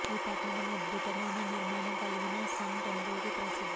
ఈ పట్టణం అద్భుతమైన నిర్మాణం కలిగిన సన్ టెంపుల్ కి ప్రసిద్ది